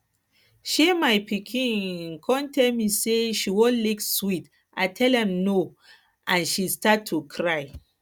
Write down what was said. um my pikin um come tell me say she wan lick sweet i tell am no and she start to cry